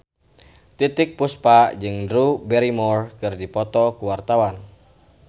Titiek Puspa jeung Drew Barrymore keur dipoto ku wartawan